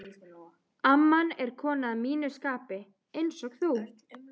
amman er kona að mínu skapi, einsog þú.